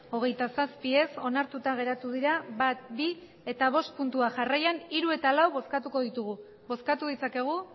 hogeita zazpi ez onartuta geratu dira bat bi eta bost puntuak jarraian hiru eta lau bozkatuko ditugu bozkatu ditzakegu